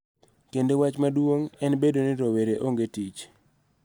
Kendo wach maduong� en bedo ni rowere onge tich.